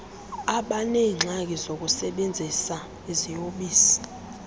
abaneengxaki zokusebenzisa iziyobisi